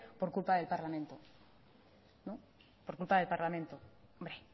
por culpa del parlamento no por culpa del parlamento hombre